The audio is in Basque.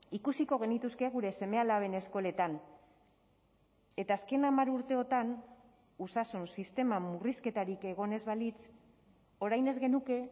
ikusiko genituzke gure seme alaben eskoletan eta azken hamar urteotan osasun sistema murrizketarik egon ez balitz orain ez genuke